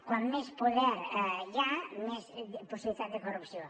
com més poder hi ha més possibilitat de corrupció